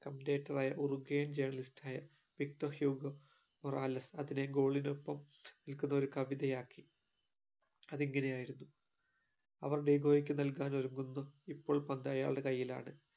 ആയ Uruguayan journalist ആയ Victor Hugo Morales അതിനെ goal ഇനൊപ്പം നിക്കുന്ന ഒരു കവിതയാക്കി അതിങ്ങനെ ആയിരുന്നു അവർ ഡിഗോയ്ക് നൽകാൻ ഒരുങ്ങുന്നു ഇപ്പോൾ പന്ത് അയാളുടെ ടെ കയ്യിലാണ്